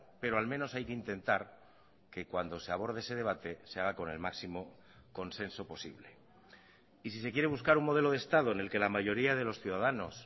pero al menos hay que intentar que cuando se aborde ese debate se haga con el máximo consenso posible y si se quiere buscar un modelo de estado en el que la mayoría de los ciudadanos